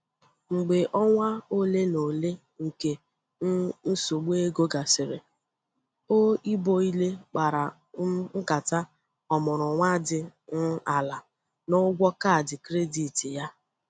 Mgbe ọnwa ole na ole nke um nsogbu ego gasịrị, o iboally kpara um nkata ọmụrụ nwa dị um ala na ụgwọ kaadị kredit ya.